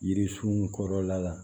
Yiri sun kɔrɔla la